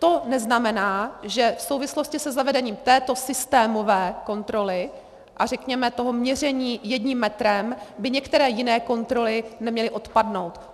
To neznamená, že v souvislosti se zavedením této systémové kontroly a řekněme toho měření jedním metrem by některé jiné kontroly neměly odpadnout.